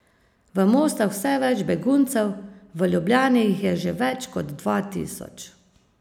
V Mostah vse več beguncev, v Ljubljani jih je že več kot dva tisoč.